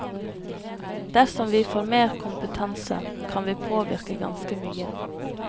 Dersom vi får mer kompetanse, kan vi påvirke ganske mye.